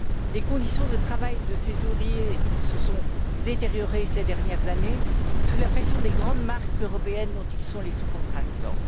Les conditions de travail de ces ouvriers se sont détériorées ces dernières années sous la pression des grandes marques européennes dont ils sont les sous traitants.